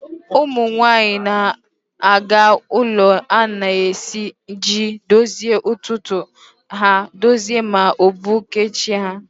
Ụmụ nwanyị na-aga ulo a na-eme isi iji dozie ntutu ha, dozie ma ọ bụ kechie ha.